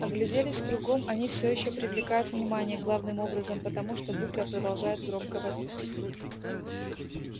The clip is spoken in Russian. огляделись кругом они всё ещё привлекают внимание главным образом потому что букля продолжает громко вопить